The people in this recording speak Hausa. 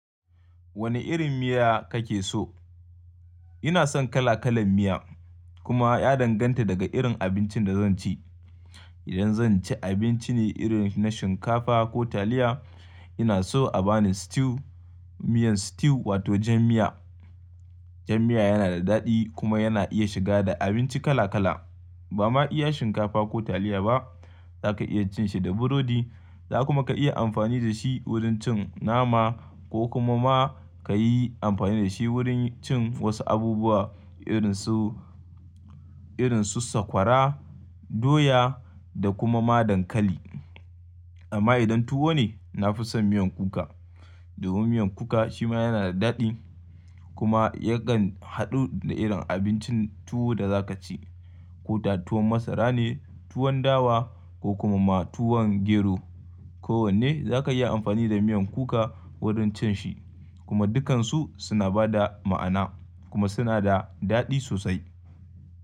Wane irin miya kake so? Ina son kala-kalan miya kuma ya danganta daga irin abincin da zan ci. Idan zan ci abinci ne irin na shinkafa ko taliya, ina so a bani stew, miyan stew wato jan miya. Jan miya yana da daɗi kuma yana iya shiga da abinci kala-kala. Ba ma iya shinkafa ko taliya ba, za ka iya cin shi da burodi, za kuma ka iya amfani da shi wurin cin nama ko kuma ma ka yi amfani da shi wurin cin wasu abubuwa irin su, irin su sakwara, doya da kuma ma dankali. Amma idan tuwo ne, na fi son miyan kuka. Domin miyan kuka shi ma yana da daɗi kuma ya kan haɗu da irin abincin tuwo da za ka ci. Ko da tuwon masara ne, tuwon dawa ko kuma ma tuwon gero, ko wanne za ka iya amfani da miyan kuka wurin cin shi. Kuma dukansu suna ba da ma'ana kuma suna da daɗi sosai.